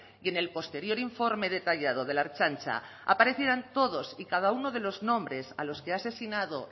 y en el posterior informe detallado de la ertzaintza aparecieran todos y cada uno de los nombres a los que ha asesinado